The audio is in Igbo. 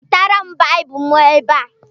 Wetere m Baịbụl m ebe a!